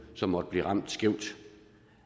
som måtte blive ramt skævt